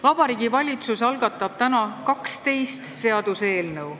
Vabariigi Valitsus algatab täna 12 seaduseelnõu.